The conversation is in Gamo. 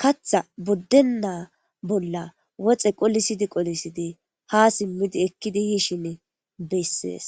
kaththa buddeena woxxe qolissidi qolissidi ha simmidi ekkidi yishini bessees.